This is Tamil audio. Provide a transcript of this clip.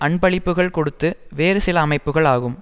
அன்பளிப்புக்கள் கொடுத்து வேறு சில அமைப்புக்கள் ஆகும்